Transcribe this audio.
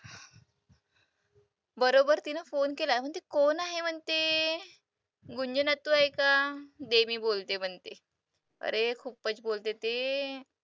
बरोबर तिनं phone केला, म्हणते कोण आहे म्हणते? आहे का baby बोलते म्हणते. अरे खूपच बोलते ती.